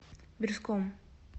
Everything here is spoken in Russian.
бирском